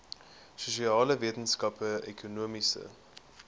sosiale wetenskappe ekonomiese